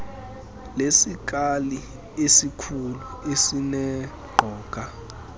lesikali esikhulu esineqoga